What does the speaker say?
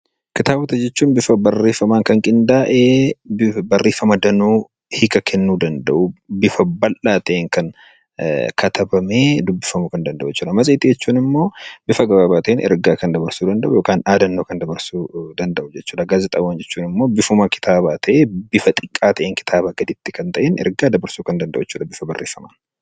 Kitaabota jechuun bifa barreeffamaan kan qindaa'ee barreeffama danuu hiika kennuu danda'uun, bifa bal'aa ta'een kan katabamee dubbifamuu kan danda'u. Matseetii jechuun immoo bifa gabaabaa ta'een ergaa dabarsuu kan danda'u yookaan dhaadannoo dabarsuu kan danda'u. Gaazexaawwan jechuun immoo bifuma kitaabaa ta'ee kitaabaa gaditti kan ta'een eergaa kan dabarsuu danda'u bifa barreeffamaan.